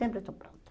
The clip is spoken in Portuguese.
Sempre estou pronta.